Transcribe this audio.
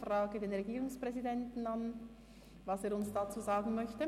Ich frage den Regierungspräsidenten, was er uns dazu sagen möchte.